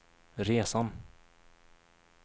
resan